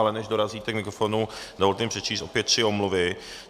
Ale než dorazíte k mikrofonu, dovolte mi přečíst opět tři omluvy.